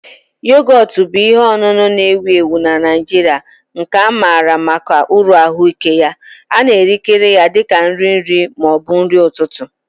Yogọt bụ ihe ọṅụṅụ na-ewu ewu na Naijiria nke amara maka uru ahụike ya. A na-erikarị ya dị ka nri nri ma ọ bụ nri ụtụtụ